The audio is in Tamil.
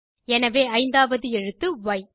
எனவே ஐந்தாவது எழுத்து ய்